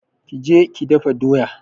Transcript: Ki je ki dafa doya!